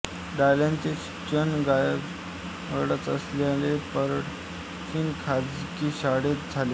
डाल्टनचे शिक्षण गावाजवळच असलेल्या पर्डशावहॉल खाजगी शाळेत झाले